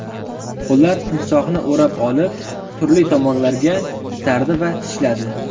Ular timsohni o‘rab olib, turli tomonlarga itardi va tishladi.